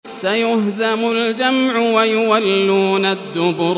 سَيُهْزَمُ الْجَمْعُ وَيُوَلُّونَ الدُّبُرَ